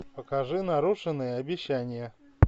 покажи нарушенное обещание